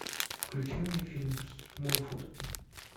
включи мне фильм смолфут